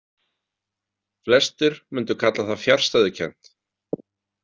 Flestir mundu kalla það fjarstæðukennt.